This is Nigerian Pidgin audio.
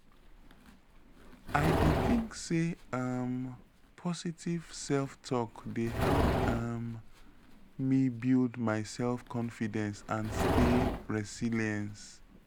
i dey think say um positive self-talk dey help um me build my self-confidence and stay resilience.